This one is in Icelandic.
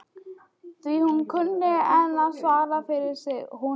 Því hún kunni enn að svara fyrir sig hún